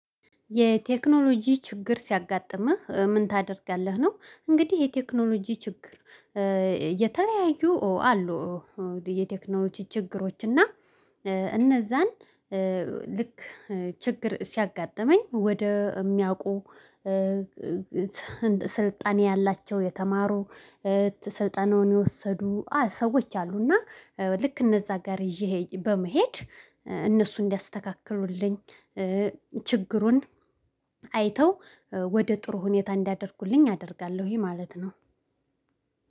የቴክኖሎጂ ችግር ሲያጋጥምህ ምን ታደርጋለህ ነው? እንግዲህ የቴክኖሎጂ ችግር የተለያዩ አሉ። የቴክኖሎጂ ችግሮች እና እነዛን ልክ ችግር ሲያጋጥመኝ ወደ የሚያውቁ ስልጣኔ ያላቸው የተማሩ ስልጠናውን የወሰዱ ሰዎች አሉና ልክ እነዛ ጋር ይዤ በመሄድ እነሱ እንዲያስተካክሉልኝ ችግሩን አይተው ወደ ጥሩ ሁኔታ እንዲያደርጉልኝ አደርጋለሁ። ይሄ ማለት ነው።